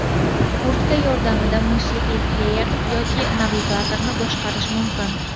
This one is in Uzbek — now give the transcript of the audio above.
Kurtka yordamida musiqiy pleyer yoki navigatorni boshqarish mumkin.